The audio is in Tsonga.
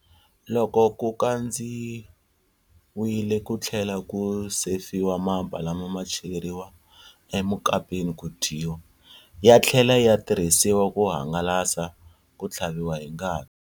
Loko ku kandziwile ku tlhela ku sefiwa mapa lama ma cheriwa emukapini ku dyiwa, ya tlhela ya tirhisiwa ku hangalasa ku tlhaviwa hi ngati.